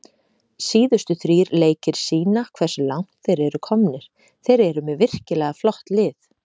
Síðustu þrír leikir sýna hversu langt þeir eru komnir, þeir eru með virkilega flott lið.